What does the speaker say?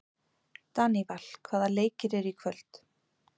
Daníval, hvaða leikir eru í kvöld?